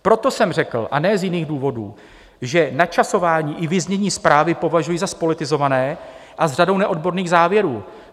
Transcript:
Proto jsem řekl, a ne z jiných důvodů, že načasování i vyznění zprávy považuji za zpolitizované a s řadou neodborných závěrů.